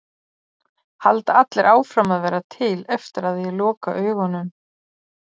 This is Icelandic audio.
Halda allir áfram að vera til eftir að ég loka augunum?